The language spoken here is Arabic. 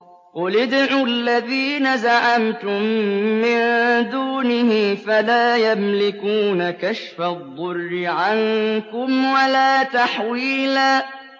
قُلِ ادْعُوا الَّذِينَ زَعَمْتُم مِّن دُونِهِ فَلَا يَمْلِكُونَ كَشْفَ الضُّرِّ عَنكُمْ وَلَا تَحْوِيلًا